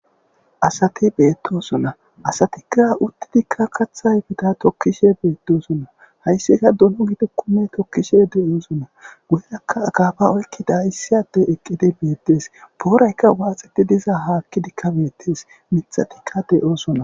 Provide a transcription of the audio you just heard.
Asati beettosona asatikka uttidikka kathayfita tokkishe beetdoosonna hayssika dolo gide kume tokkishe de'oosona guyerakka agaafa oykkida hissiade eqqidi beettes pooraykka waaxeti diza haakkidikka beettes mithatikka de'oosona.